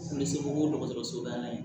U bɛ se k'o dɔgɔtɔrɔso la yen